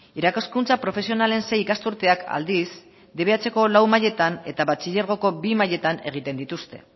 irakaskuntza profesionalen sei ikasturteak aldiz dbhko lau mailetan eta batxilergoko bi mailetan egiten dituzte